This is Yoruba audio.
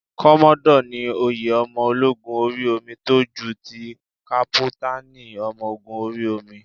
Kọ́mọ́dọ̀ ni oyè ọmọ ológun orí omi tó ju ti kápútánì ọmọ ogún orí omi.